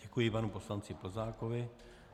Děkuji panu poslanci Plzákovi.